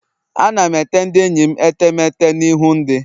Ana m ete ndị enyi metemeete na ihu ndị